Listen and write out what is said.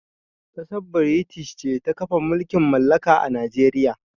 Kassar British ce ta kafa mulƙin mallaƙa a Najeriƴa.